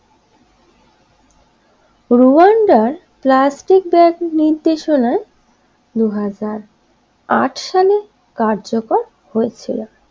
Rwanda এর plastic bag নির্দেশনায় দুই হাজার আঁট সালে কার্যকর হয়েছিল।